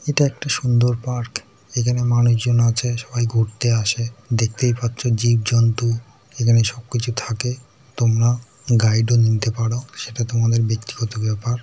এটা একটা সুন্দর পার্ক এখানে মানুষজন আছে সবাই ঘুরতে আসেদেখতেই পাচ্ছো জীবজন্তু এখানে সবকিছু থাকে । তোমরা গাইড ও নিতে পারো সেটা তোমাদের ব্যক্তিগত ব্যাপার ।